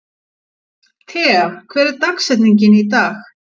Tea, hver er dagsetningin í dag?